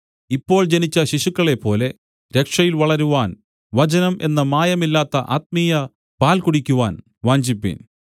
ഇപ്പോൾ ജനിച്ച ശിശുക്കളെപ്പോലെ രക്ഷയിൽ വളരുവാൻ വചനം എന്ന മായമില്ലാത്ത ആത്മീയ പാൽ കുടിക്കുവാൻ വാഞ്ചിപ്പിൻ